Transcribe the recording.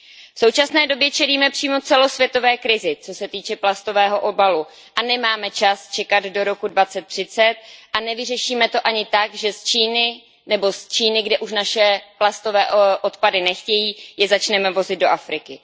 V současné době čelíme přímo celosvětové krizi, co se týče plastového obalu, a nemáme čas čekat do roku 2030 a nevyřešíme to ani tak, že z Číny, kde už naše plastové odpady nechtějí, je začneme vozit do Afriky.